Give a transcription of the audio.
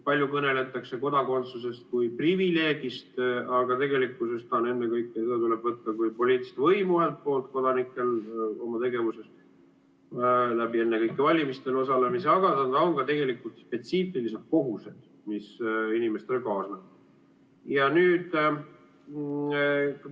Palju kõneldakse kodakondsusest kui privileegist, aga tegelikkuses tuleb seda võtta ühelt poolt kui kodanike poliitilist võimu oma tegevuses, ennekõike valimistel osalemise kaudu, aga see on ka spetsiifilised kohustused, mis inimestele kaasnevad.